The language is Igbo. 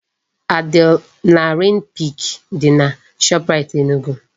Adrenaline peak dị na Shoprite Enugu